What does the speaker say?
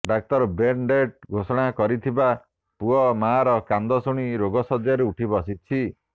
ଡାକ୍ତର brain dead ଘୋଷଣା କରିଥିବା ପୁଅ ମାଆର କାନ୍ଦ ଶୁଣି ରୋଗଶଯ୍ୟାରୁ ଉଠି ବସିଛି